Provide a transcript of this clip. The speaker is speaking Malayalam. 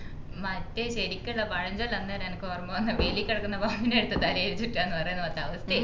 മറ്റേ ശെരിക്കുള്ള പഴഞ്ചോല്ലന്നെരാ എനിക്കോർമ്മ വന്നേ വേലിക്കെടക്കുന്ന പാമ്പിനെ എടുത്ത് തലേൽ വെക്കന്നു പറയുന്നപോലത്തെ അവസ്ഥേ